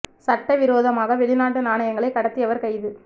சட்ட விரோதமாக வெளிநாட்டு நாணயங்களை கடத்தியவர் கைது